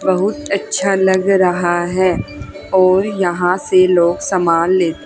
बहुत अच्छा लग रहा है और यहां से लोग सामान ले--